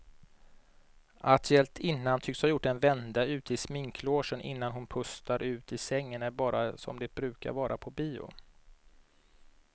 Att hjältinnan tycks ha gjort en vända ut i sminklogen innan hon pustar ut i sängen är bara som det brukar vara på bio.